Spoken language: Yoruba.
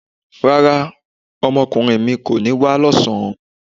Rárá, ọmọkùnrin mi kò ní wá lọ́sàn-án